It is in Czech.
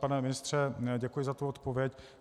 Pane ministře, děkuji za tu odpověď.